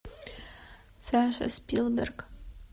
саша спилберг